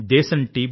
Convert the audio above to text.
దేశం టి